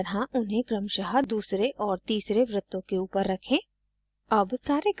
दिखाए गए की तरह उन्हें क्रमशः दूसरे और तीसरे वृर्त्तों के ऊपर रखें